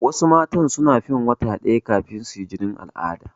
Wasu mata suna fin wata ɗaya kafin suyi jinin al'ada.